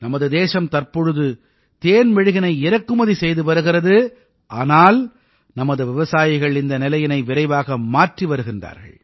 நமது தேசம் தற்போது தேன்மெழுகினை இறக்குமதி செய்து வருகிறது ஆனால் நமது விவசாயிகள் இந்த நிலையினை விரைவாக மாற்றி வருகிறார்கள்